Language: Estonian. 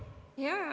Katri Raik, palun!